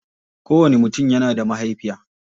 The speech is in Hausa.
Kowanni mutum yana da mahaifiya.